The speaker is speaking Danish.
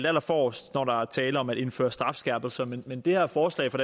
allerforrest når der er tale om at indføre strafskærpelser men men det her forslag fra